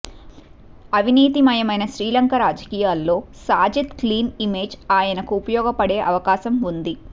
అవినీతిమయమైన శ్రీలంక రాజకీయాల్లో Sajith clean image ఆయనకు ఉపయోగపడే అవకాశం ఉంది